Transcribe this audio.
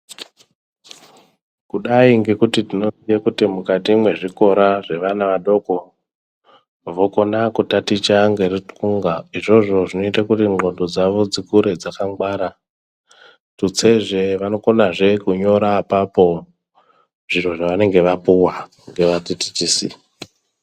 Kudai ngekuti tinoziye kuti mukati mwezvikora zvevana vadoko, vokona kutaticha ngeruncunga izvozvo zvinoite kuti ndxondo dzavo dzikure dzakangwara, tutsezve vanokonazve kunyora apapo zviro zvevanenge vapuwa ngevadzidzisi.